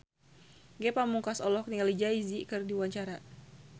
Ge Pamungkas olohok ningali Jay Z keur diwawancara